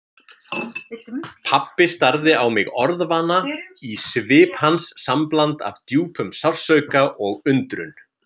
Pabbi starði á mig orðvana, í svip hans sambland af djúpum sársauka og undrun.